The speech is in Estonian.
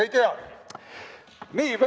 Kõike head!